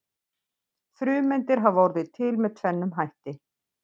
Frumeindir hafa orðið til með tvennum hætti.